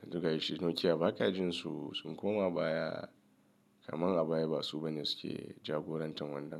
Yanzu ga yi shi Nokia baka jin su sun koma baya kamar a baya ba su bane suke jagorantar wannan.